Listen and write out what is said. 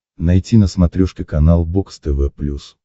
найти на смотрешке канал бокс тв плюс